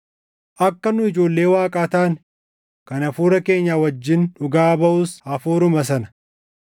Akka nu ijoollee Waaqaa taane kan hafuura keenya wajjin dhugaa baʼus Hafuuruma sana.